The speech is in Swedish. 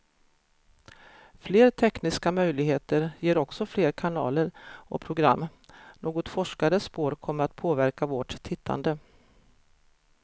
Fler tekniska möjligheter ger också fler kanaler och program, något forskare spår kommer att påverka vårt tittande.